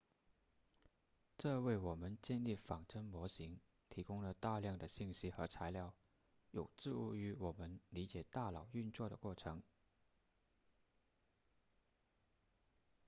这为我们建立仿真模型提供了大量的信息和材料有助于我们理解大脑运作的过程